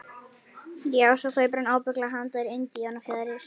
Já, svo kaupir hann ábyggilega handa þér indíánafjaðrir.